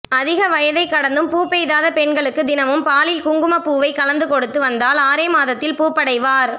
அதிக வயதைக் கடந்தும் பூப்பெய்தாத பெண்களுக்கு தினமும் பாலில் குங்குமப் பூவை கலந்து கொடுத்து வந்தால் ஆறே மாதத்தில் பூப்படைவார்